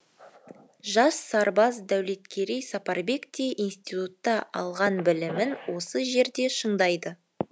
жас сарбаз дәулеткерей сапарбек те институтта алған білімін осы жерде шыңдайды